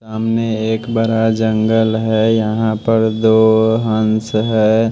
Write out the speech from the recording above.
सामने एक बड़ा जंगल है। यहां पर दो हंस है।